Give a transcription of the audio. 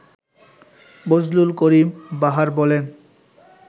বজলুল করিম বাহার বলেন